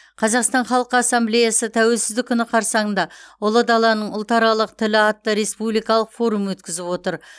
қазақстан халқы ассамблеясы тәуелсіздік күні қарсаңында ұлы даланың ұлтаралық тілі атты республикалық форум өткізіп отыр